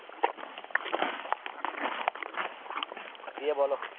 দিয়ে বলো